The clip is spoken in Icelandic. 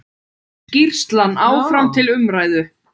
Skýrslan áfram til umræðu